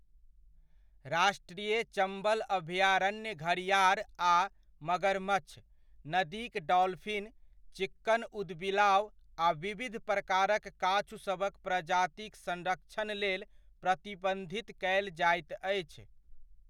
राष्ट्रीय चम्बल अभयारण्य घड़िआर आ मगरमच्छ, नदीक डॉल्फिन, चिक्कन ऊदबिलाव आ विविध प्रकारक काछुसभक प्रजातिक संरक्षणक लेल प्रबन्धित कयल जाइत अछि।